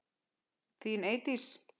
Þín Eydís.